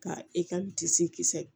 Ka e ka kisɛ